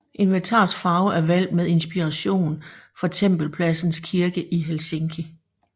Inventarets farve er valgt med inspiration fra Tempelpladsens Kirke i Helsinki